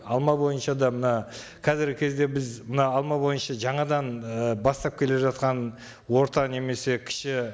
алма бойынша да мына қазіргі кезде біз мына алма бойынша жаңадан ы бастап келе жатқан орта немесе кіші